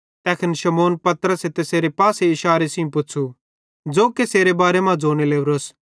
तैखन शमौन पतरसे तैसेरे पासे इशारे सेइं पुच़्छ़ू ज़ो कसेरे बारे मां ज़ोने लोरोए